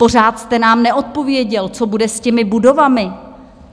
Pořád jste nám neodpověděl, co bude s těmi budovami.